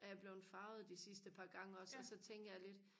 er jeg blevet farvet de sidste par gange også og så tænker jeg lidt